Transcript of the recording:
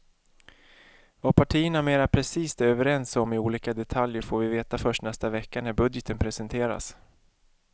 Vad partierna mera precist är överens om i olika detaljer får vi veta först nästa vecka när budgeten presenteras.